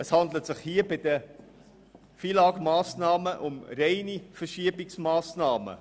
Es handelt sich bei den FILAG-Massnahmen um reine Kostenverschiebungen.